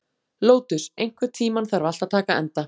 Lótus, einhvern tímann þarf allt að taka enda.